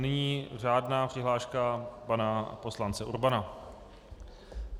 Nyní řádná přihláška pana poslance Urbana.